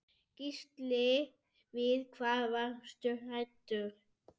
Gísli: Við hvað varstu hræddur?